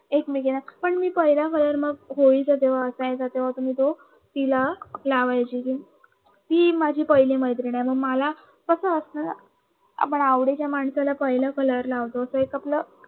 एकमेकीना पण मी पहिला कलर मग होळीच्या जवळ असायचा तव्हा मी तिला लावायच्य ते ती माझी पहिली मैत्रीण आहे मग मला कस वाटणार आपल्या आवडीच्या माणसाला पहिलं कलर लावतो ते एक आपल